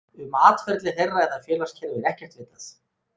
Um atferli þeirra eða félagskerfi er ekkert vitað.